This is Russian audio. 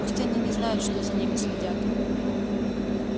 пусть они не знают что за ними следят